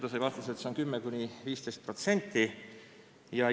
Ta sai vastuseks, et 10–15% ulatuses.